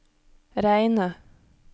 reine